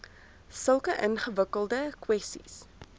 sulke ingewikkelde kwessies